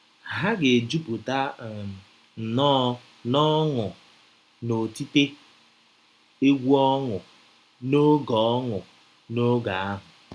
Ha ga - ejupụta um nnọọ ‘ n’ọṅụ na otite egwú ọṅụ ’ n’oge ọṅụ ’ n’oge ahụ.